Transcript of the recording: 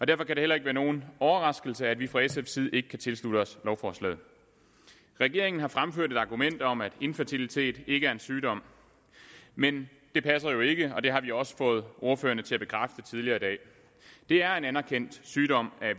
derfor kan det heller ikke være nogen overraskelse at vi fra sfs side ikke kan tilslutte os lovforslaget regeringen har fremført et argument om at infertilitet ikke er en sygdom men det passer jo ikke og det har vi også fået ordførerne til at bekræfte tidligere i dag det er en anerkendt sygdom